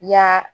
Ya